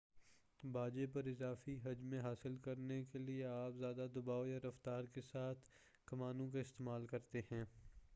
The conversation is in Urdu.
باجے پر اضافی حجم حاصل کرنے کے لئے آپ زیادہ دباؤ یا رفتار کے ساتھ کمانوں کا استعمال کرتے ہیں